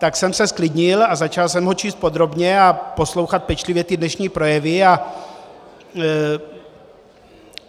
Tak jsem se zklidnil a začal jsem ho číst podrobně a poslouchat pečlivě ty dnešní projevy.